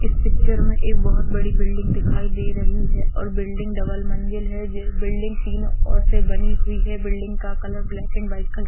इस पिक्चर में एक बहुत बड़ी बिल्डिंग दिखाई दे रही है और बिल्डिंग डबल मंजिल है। बिल्डिंग तीनो और से बनी हुई है। बिल्डिंग का colour black and white colour --